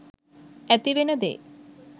ඇතිවෙන දේ.